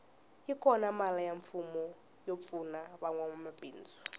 yi kona mali ya mfumo yo pfuna vanwa mabindzu